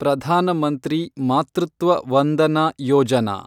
Pradhan Mantri Matritva Vandana Yojana